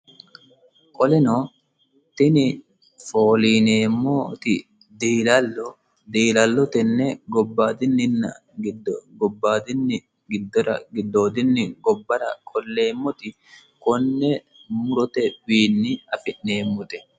qoleno tini fooliineemmooti diilallo diilallo tenne gobbaayidini giddora giddoodinni gobbara qolleemmoti konne murotewiinni afi'neemmote